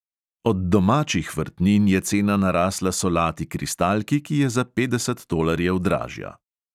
Od domačih vrtnin je cena narasla solati kristalki, ki je za petdeset tolarjev dražja.